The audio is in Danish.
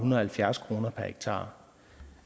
og halvfjerds kroner per hektar